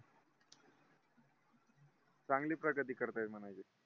चांगली प्रगती करतायेत म्हणायचे